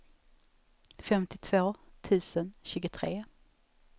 femtiotvå tusen tjugotre